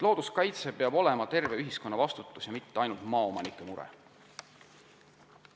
Looduskaitse eest peab vastutama terve ühiskond, see pole ainult maaomanike mure.